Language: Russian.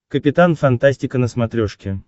капитан фантастика на смотрешке